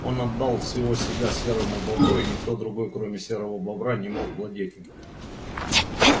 он отдал всего себя серому бобру и никто другой кроме серого бобра не мог владеть им